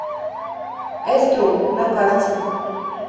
эструм на карте